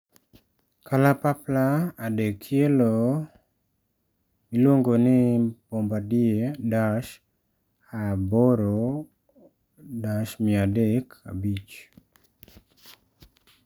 Kalapapla adekielo miluongo ni Bombardier Dash 8-300 5.